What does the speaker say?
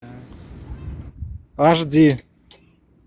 аш ди